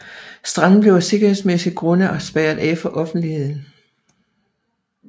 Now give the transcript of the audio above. Stranden blev af sikkerhedsgrunde spærret af for offentligheden